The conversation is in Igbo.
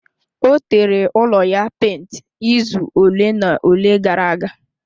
Ọ tere ụlọ ya penti izu ole na ole gara aga.